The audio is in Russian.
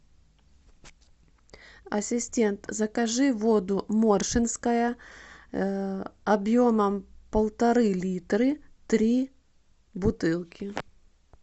ассистент закажи воду моршинская объемом полторы литры три бутылки